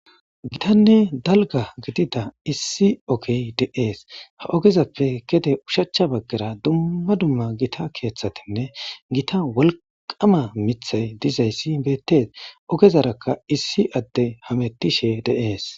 gitanne dalga gidida issi ogey deees ha ogezappe gede ushachcha baggara dumma dumma gita keeththatinne gita wolqama mithay dizayssi beettes ogezarakka issi adde hamettishe de7ees